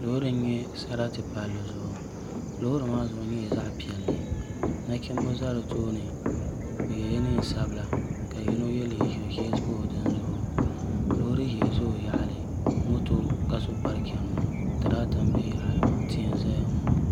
Loori n nyɛ sarati palli zuɣu loori maa zuɣu nyɛla zaɣ piɛlli nachimbi ʒɛ di tooni bi yɛla neen sabila ka yino yɛ liiga ʒiɛ pa o dini zuɣu loori ʒiɛ ʒɛ o yaɣali moto ka so bari chɛni ŋɔ tirata n bɛ yaɣali ŋɔ tihi n ʒɛya ŋɔ